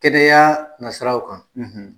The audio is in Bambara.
Kɛnɛya nasiraraw kan.